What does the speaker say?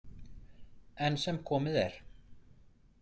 Enn sem komið er.